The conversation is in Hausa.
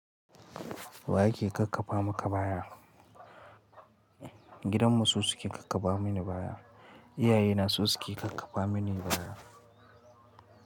Wa yake kakkafa maka baya? Gidanmu su suke kakkafa mini baya. Iyaye na su suke kakkafa mini baya.